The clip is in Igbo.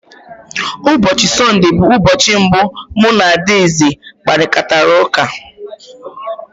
Ụbọchị Sọnde bụ ụbọchị mbụ mụ na Adaeze kparịtara ụka.